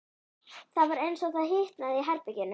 Það var eins og það hitnaði í herberginu.